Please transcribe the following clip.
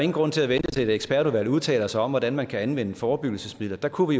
grund til at vente til et ekspertudvalg har udtalt sig om hvordan man kan anvende forebyggelsesmidlerne der kunne vi